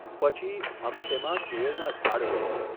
પછી, અમે તેમાં કેળના ઝાડ રોપીએ.